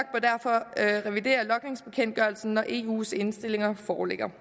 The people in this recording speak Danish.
af revidere logningsbekendtgørelsen når eus indstillinger foreligger